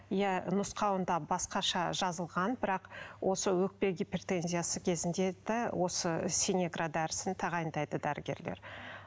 иә нұсқауында басқаша жазылған бірақ осы өкпе гипертензиясы кезінде де осы синегра дәрісін тағайындайды дәрігерлер